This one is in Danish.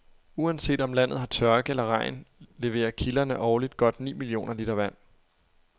Uanset om landet har tørke eller regn leverer kilderne årligt godt ni millioner liter vand.